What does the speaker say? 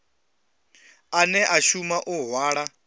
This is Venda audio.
ane a shuma u hwala